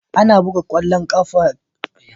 Ana buga ƙwallon ƙafa tare da ƙungiyoyi biyu masu adawa da juna